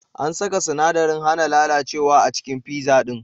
An saka sinadarin hana lalacewa a cikin pizza din.